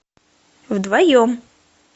вдвоем